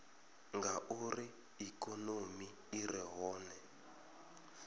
ngauri ikonomi i re hone